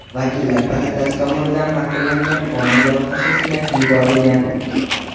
Vakillar palatasi tomonidan ma’qullangan qonun loyihasi Senatga yuborilgan.